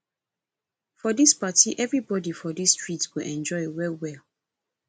for dis party everybodi for dis street go enjoy well well